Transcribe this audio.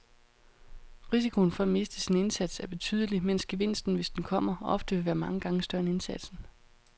Risikoen for at miste sin indsats er betydelig, mens gevinsten, hvis den kommer, ofte vil være mange gange større end indsatsen.